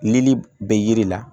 Nili bɛ yiri la